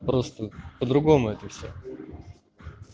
просто по-другому это всё